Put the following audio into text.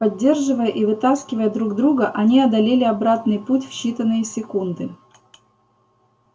поддерживая и вытаскивая друг друга они одолели обратный путь в считанные секунды